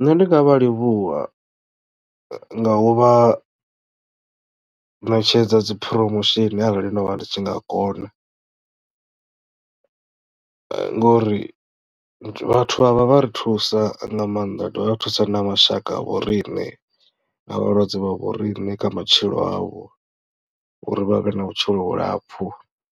Nṋe ndi nga vha livhuwa nga u vha ṋetshedza dzi promotion arali ndo vha ndi tshi nga kona ngori vhathu avha vha ri thusa nga maanḓa vhadovha vha thusa na mashaka vho riṋe na vhalwadze vha vho riṋe kha matshilo avho uri vha vhe na vhutshilo vhulapfhu